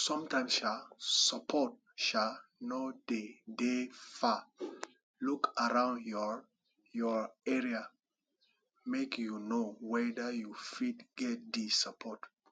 sometimes um support um no de dey far look around your your area make you know weda you fit get di support